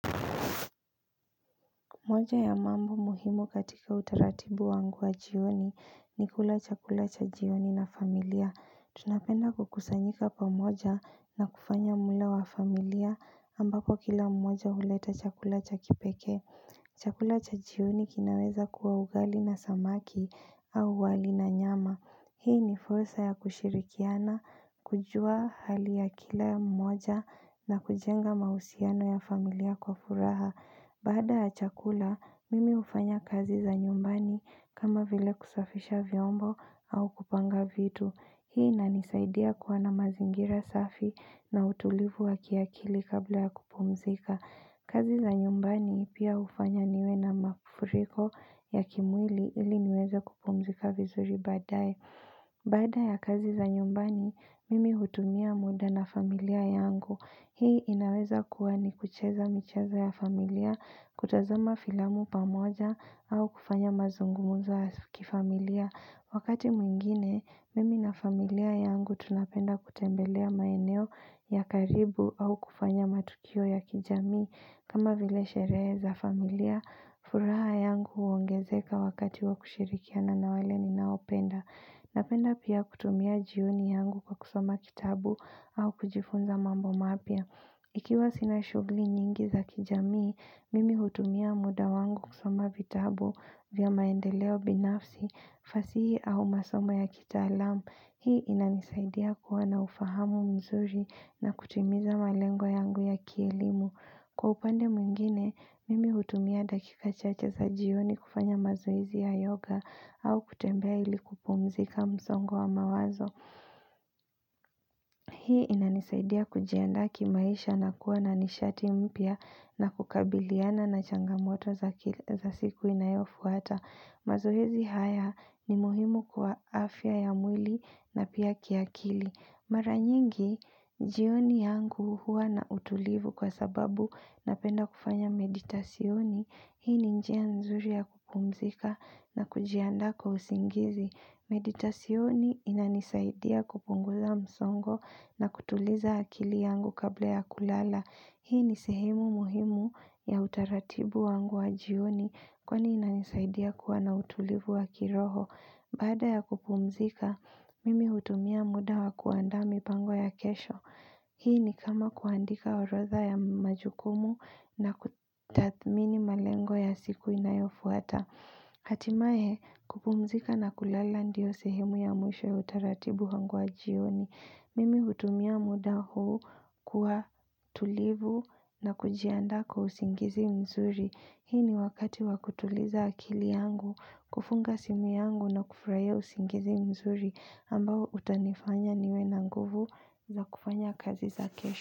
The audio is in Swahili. Moja ya mambo muhimu katika utaratibu wangu wa jioni ni kula chakula cha jioni na familia. Tunapenda kukusanyika pamoja na kufanya mlo wa familia ambapo kila mmoja huleta chakula cha kipekee. Chakula cha jioni kinaweza kuwa ugali na samaki au wali na nyama. Hii ni fursa ya kushirikiana, kujua hali ya kila mmoja na kujenga mahusiano ya familia kwa furaha. Baada ya chakula, mimi hufanya kazi za nyumbani kama vile kusafisha vyombo au kupanga vitu. Hii inanisaidia kuwa na mazingira safi na utulivu waki akili kabla ya kupumzika. Kazi za nyumbani pia hufanya niwe na mafuriko ya kimwili ili niweze kupumzika vizuri baadaye. Baada ya kazi za nyumbani, mimi hutumia muda na familia yangu. Hii inaweza kuwa ni kucheza michezo ya familia, kutazama filamu pamoja au kufanya mazungumzo ya kifamilia. Wakati mwingine, mimi na familia yangu tunapenda kutembelea maeneo ya karibu au kufanya matukio ya kijamii. Kama vile sherehe za familia, furaha yangu huongezeka wakati wa kushirikiana na wale ninaopenda. Napenda pia kutumia jioni yangu kwa kusoma kitabu au kujifunza mambo mapya. Ikiwa sina shughuli nyingi za kijamii, mimi hutumia muda wangu kusoma vitabu vya maendeleo binafsi, fasihi au masomo ya kitaalamu. Hii inanisaidia kuwa na ufahamu mzuri na kutimiza malengo yangu ya kielimu. Kwa upande mwingine, mimi hutumia dakika chache za jioni kufanya mazoezi ya yoga au kutembea ilikupumzika msongo wa mawazo. Hii inanisaidia kujiandaa kimaisha na kuwa na nishati mpya na kukabiliana na changamoto za siku inayofuata. Mazoezi haya ni muhimu kwa afya ya mwili na pia kiakili. Mara nyingi, jioni yangu huwa na utulivu kwa sababu napenda kufanya meditashoni, hii ni njia nzuri ya kupumzika na kujiandaa kwa usingizi. Meditashoni inanisaidia kupungula msongo na kutuliza akili yangu kabla ya kulala. Hii ni sehemu muhimu ya utaratibu wangu wa jioni kwani inanisaidia kuwa na utulivu wa kiroho. Baada ya kupumzika, mimi hutumia muda wa kuandaa mipango ya kesho. Hii ni kama kuandika orodha ya majukumu na kutathmini malengo ya siku inayofuata. Hatimaye, kupumzika na kulala ndio sehemu ya mwisho ya utaratibu wangu wa jioni. Mimi hutumia muda huu kuwa tulivu na kujiandaa kwa usingizi mzuri. Hii ni wakati wakutuliza akili yangu, kufunga simu yangu na kufurahia usingizi mzuri ambao utanifanya niwe na nguvu za kufanya kazi za kesho.